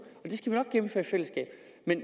det